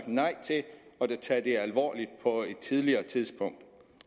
nej til at tage det alvorligt på et tidligere tidspunkt